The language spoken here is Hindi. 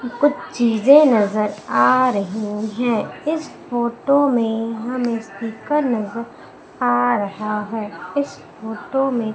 कुछ चीजें नजर आ रही हैं इस फोटो मे हमें स्पीकर नजर आ रहा है इस फोटो में--